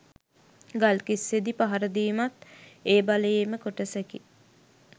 ගල්කිස්සේදී පහර දීමත් ඒ බලයේම කොටසකි